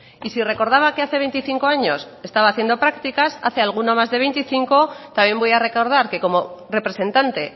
y si recordaba que hace veinticinco años estaba haciendo prácticas hace alguno más de veinticinco también voy a recordar que como representante